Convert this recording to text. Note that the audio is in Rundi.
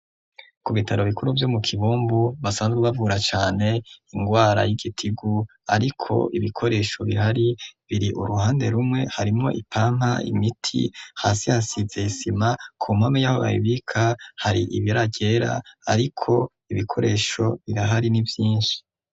Ku bitaro bikuru vyo mu kibombu basanzwe bavura cane ingwara y'igitigu ariko ibikoresho bihari biri uruhande rumwe harimwo ipampa, imiti, hasi hasize isima ku mpome y'aho babibika hari ibara ryera ariko ibikoresho birahari ni vyinshi.